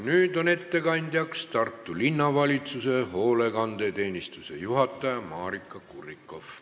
Nüüd on ettekandjaks Tartu Linnavalitsuse hoolekandeteenistuse juhataja Maarika Kurrikoff.